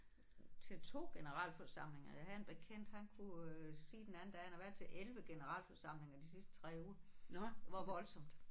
Til 2 generalforsamlinger jeg havde en bekendt han kunne sige den anden dag han har været til 11 generalforsamlinger de sidste 3 uger. Hvor voldsomt